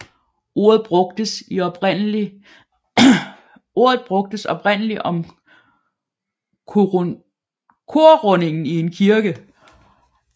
Ordet brugtes oprindelig om korrundingen i en kirke